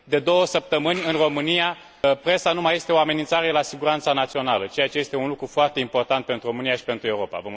De două săptămâni, în România presa nu mai este o amenințare la siguranța națională, ceea ce este un lucru foarte important pentru România și pentru Europa.